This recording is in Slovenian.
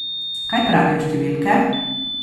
Kaj pravijo številke?